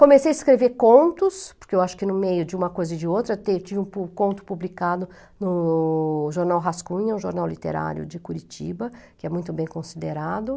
Comecei a escrever contos, porque eu acho que no meio de uma coisa e de outra, eu tinha um conto publicado no jornal Rascunha, um jornal literário de Curitiba, que é muito bem considerado.